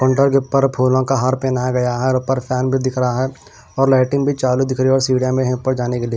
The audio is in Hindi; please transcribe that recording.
मोटर के ऊपर फूलों का हार पहनाया गया है और पर फैन भी दिख रहा है और लाइटिंग भी चालू दिख रही है और सीढ़िया में पर जाने के लिए।